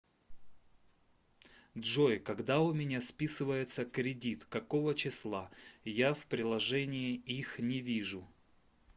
джой когда у меня списывается кредит какого числа я в приложении их не вижу